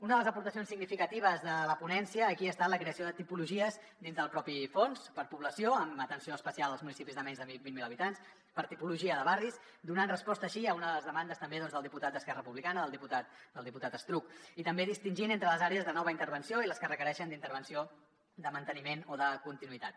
una de les aportacions significatives de la ponència aquí ha estat la creació de tipologies dins del propi fons per població amb atenció especial als municipis de menys de vint mil habitants per tipologia de barris donant resposta així a una de les demandes també del diputat d’esquerra republicana del diputat estruch i també distingint entre les àrees de nova intervenció i les que requereixen intervenció manteniment o continuïtat